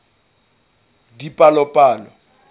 dipalopalo